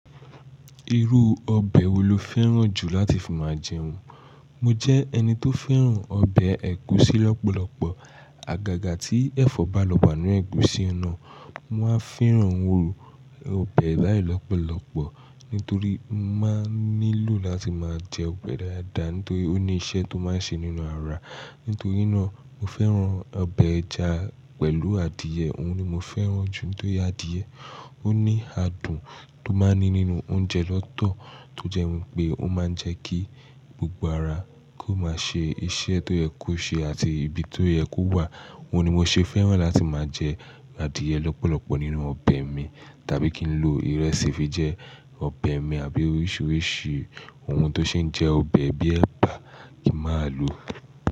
Irú ọbẹ̀ wo lo fẹ́ràn jù láti fi máa jẹun? Mo jẹ́ ẹni tó fẹ́ràn ọbẹ̀ ẹ̀gúsí lọ́pọ̀lọpọ̀. Àgàgà tí ẹ̀fọ́ bá lọ wa ninu ẹ̀gúsí na, mo máa fẹ́ràn iru ọbẹ̀ báyìí lọ́pọ̀lọpọ̀ nítorí mo máa ń nílò láti máa jẹ ọbẹ̀ dáadáa nítorí ó ní iṣẹ́ tó máa ń ṣe nínú ara. Nítorí náà, mo fẹ́ràn ọbẹ̀ ẹja pẹ̀lú adìẹ, òun ni mo fẹ́ràn jù nítorí adìẹ ó ní adùn tó máa ń ní nínú oúnjẹ lọ́tọ̀ tó jẹ́ wípé ó máa ń jẹ́ kí gbogbo ara kó máa ṣe iṣẹ́ tó yẹ kó ṣe àti ibi tó yẹ kó wà. Òun ni mo ṣe fẹ́ràn láti máa jẹ adìẹ lọ́pọ̀lọpọ̀ nínú ọbẹ̀ mi tàbí kí n lo ìrẹsì fi jẹ ọbẹ̀ mi àbí oríṣiríṣi ohun tó ṣe ń jẹ́ ọbẹ̀ bíi ẹ̀bà kí máa lò.